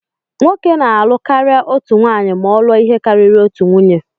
Nwoke na-alụ karịa otu nwanyị ma ọ lụọ ihe karịrị otu nwunye.